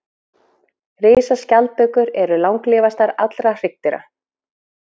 Risaskjaldbökur eru langlífastar allra hryggdýra.